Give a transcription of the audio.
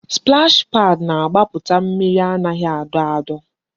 Splash paad na-agbaputa mmiri anaghị adọ adọ